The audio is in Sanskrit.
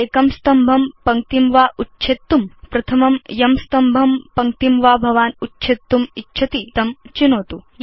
एकं स्तम्भं पङ्क्तिं वा उच्छेत्तुं प्रथमं यं स्तम्भं पङ्क्तिं वा भवान् उच्छेत्तुम् इच्छति तं चिनोतु